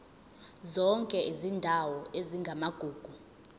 zonke izindawo ezingamagugu